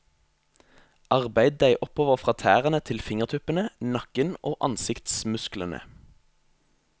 Arbeid deg oppover fra tærne til fingertuppene, nakken og ansiktsmusklene.